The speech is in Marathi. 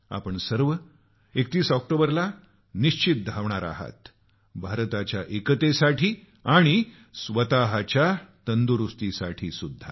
आपण सर्व 31 ऑक्टोबरला निश्चित धावाल भारताच्या एकतेसाठी स्वतःच्या तंदुरुस्तीसाठी सुद्धा